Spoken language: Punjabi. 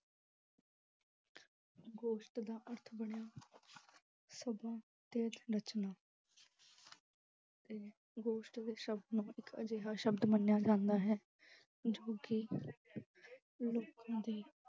ਗੋਸ਼ਟ ਦਾ ਅਰਥ ਬਣਿਆ ਸਮਾਂ ਤੇ ਸੰਰਚਨਾ ਇਹ ਸ਼ਬਦ ਨੂੰ ਇੱਕ ਅਜਿਹਾ ਸ਼ਬਦ ਮੰਨਿਆ ਜਾਂਦਾ ਹੈ ਜੋ ਕਿ ਲੋਕਾਂ ਦੀ